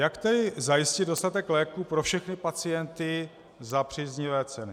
Jak tedy zajistit dostatek léků pro všechny pacienty za příznivé ceny?